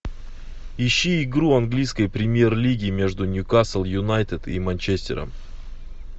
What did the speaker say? ищи игру английской премьер лиги между ньюкасл юнайтед и манчестером